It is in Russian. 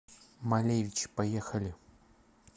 малевич поехали